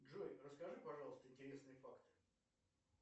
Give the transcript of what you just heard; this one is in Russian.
джой расскажи пожалуйста интересные факты